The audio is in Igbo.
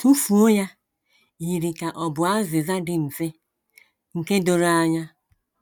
“ Tụfuo ya ” yiri ka ọ bụ azịza dị mfe, nke doro anya.